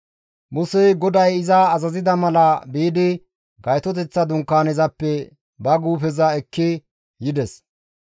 Musey GODAY iza azazida mala biidi Gaytoteththa Dunkaanezappe ba guufeza ekki yides.